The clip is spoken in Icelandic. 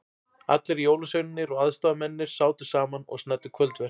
Allir jólasveinarnir og aðstoðamennirnir sátu saman og snæddu kvöldverð.